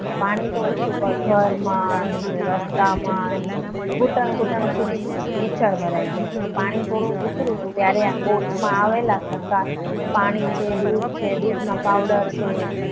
પાણી તો ઊતર્યું પણ ઘરમાં નીચે રસ્તામાં ઘૂંટણ ઘૂંટણ સુધી ખીચડ ભરાઈ ગયા. તો પાણી થોડું ઊતર્યું ત્યારે બોટમાં આવેલા તરતા પાણી દૂધ છે દૂધનો પાવડર છે.